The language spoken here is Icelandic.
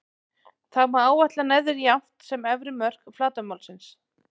Þá má áætla neðri jafnt sem efri mörk flatarmálsins.